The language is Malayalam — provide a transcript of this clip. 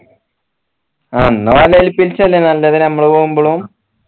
എന്ന നല്ലത് നമ്മൾ പോകുമ്പളും